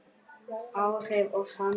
Áhrif og samtal